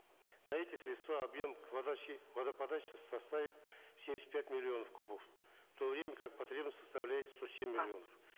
на эти средства объем подачи водоподачи составит семьдесят пять миллионов кубов в то время как потребность составляет сто семь миллионов